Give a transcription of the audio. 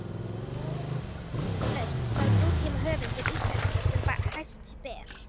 Hann er tvímælalaust sá nútímahöfundur íslenskur sem hæst ber.